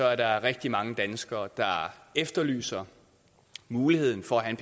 er der rigtig mange danskere der efterlyser muligheden for at have